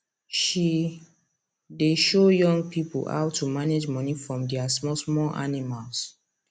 she dey show young pipo how to manage money from dia small small animals